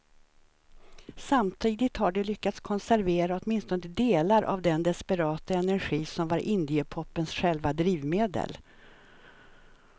Samtidigt har de lyckats konservera åtminstone delar av den desperata energi som var indiepopens själva drivmedel.